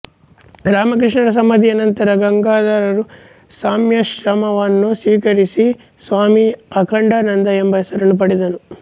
ರಾಮಕೃಷ್ಣರ ಸಮಾಧಿಯ ನಂತರ ಗಂಗಾಧರನು ಸಂನ್ಯಾಸಾಶ್ರಮವನ್ನು ಸ್ವೀಕರಿಸಿ ಸ್ವಾಮಿ ಅಖಂಡಾನಂದ ಎಂಬ ಹೆಸರನ್ನು ಪಡೆದನು